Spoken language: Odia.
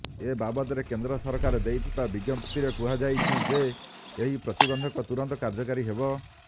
ଏ ବାବଦରେ କେନ୍ଦ୍ର ସରକାର ଦେଇଥିବା ବିଜ୍ଞପ୍ତିରେ କୁହାଯାଇଛି ଯେ ଏହି ପ୍ରତିବନ୍ଧକ ତୁରନ୍ତ କାର୍ଯ୍ୟକାରୀ ହେବ